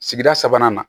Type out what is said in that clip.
Sigida sabanan na